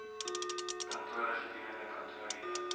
kantore gedurende kantoorure